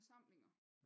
Forsamlinger